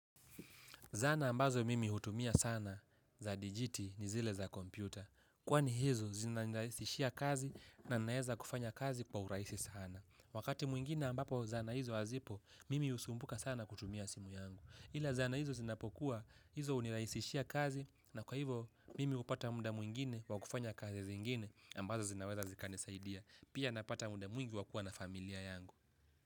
Zana ambazo mimi hutumia sana za digiti ni zile za kompyuta. Kwani hizo zinanirahisishia kazi na naweza kufanya kazi kwa urahisi sana. Wakati mwingine ambapo zana hizo hazipo, mimi husumbuka sana kutumia simu yangu. Ila zana hizo zinapokuwa hizo hunirahisishia kazi na kwa hivo mimi hupata muda mwingine wa kufanya kazi zingine ambazo zinaweza zikanisaidia. Pia napata muda mwingi wa kuwa na familia yangu.